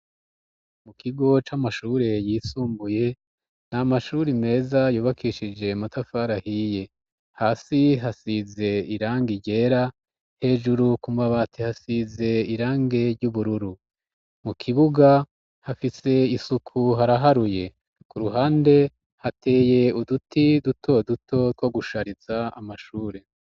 Mu kigo c'amashure yisumbuye, nta mashuri meza yubakishije amatafari ahiye. Hasi hasize irangi ryera. Hejuru ku mabati hasize irangi ry'ubururu. Mu kibuga hafise isuku haraharuye. Ku ruhande, hateye uduti dutoduto two gushariza amashure.